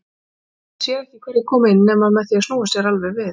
Maður sér ekki hverjir koma inn nema með því að snúa sér alveg við.